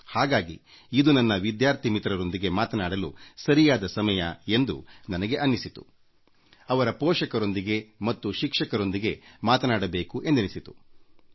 ಹಾಗಾಗಿ ಇದು ನನ್ನ ವಿದ್ಯಾರ್ಥಿ ಮಿತ್ರರೊಂದಿಗೆ ಅವರ ಪೋಷಕರೊಂದಿಗೆ ಮತ್ತು ಶಿಕ್ಷಕರೊಂದಿಗೆ ಮಾತನಾಡಲು ಸರಿಯಾದ ಸಮಯ ಎಂದು ನಾನು ಭಾವಿಸುತ್ತೇನೆ